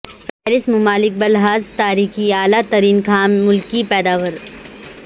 فہرست ممالک بلحاظ تاریخی اعلی ترین خام ملکی پیداوار